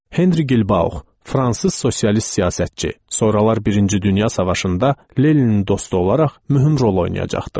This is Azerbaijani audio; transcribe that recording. Henri Gilbaux, fransız sosialist siyasətçi, sonralar Birinci Dünya Savaşında Leninin dostu olaraq mühüm rol oynayacaqdı.